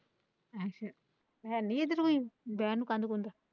ਹੈ ਨਹੀਂ ਇੱਥੇ ਕੋਈ ਬਹਿਣ ਨੂੰ ਕੰਧ ਕੰਧੁ।